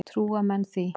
Trúa menn því?